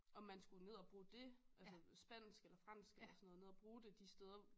Om man skulle ned og bruge det altså spansk eller fransk eller sådan noget ned og bruge det de steder